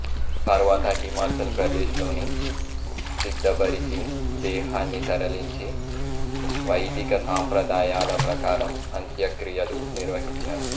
తరువాత హిమాచల్ ప్రదేశ్ లోని సిద్దబరికి దేహాన్ని తరలించి వైదిక సాంప్రదాయాల ప్రకారం అంత్యక్రియలు నిర్వహించారు